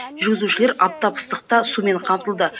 жүргізушілер аптап ыстықта сумен қамтылды